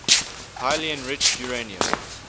highly enriched uranium